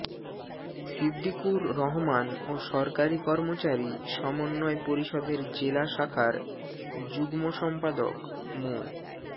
সিদ্দিকুর রহমান ও সরকারি কর্মচারী সমন্বয় পরিষদের জেলা শাখার যুগ্ম সম্পাদক মো